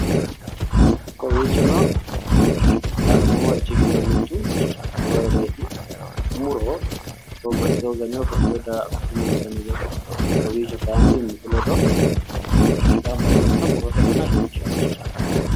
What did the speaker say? Kowiichono la'neemmorichi giddo mituno muroyiireeti. muro babbaxitewo garinni babbaxitewo daro afidhewoonte gede kowiicho kaayiinni mimmitu ledo gamba yite noota murote dana leellishanno.